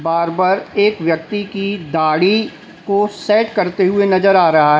Barber एक व्यक्ति की दाढ़ी को सेट करते हुए नजर आ रहा है।